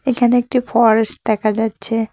এখানে একটি ফরেস্ট দেখা যাচ্ছে।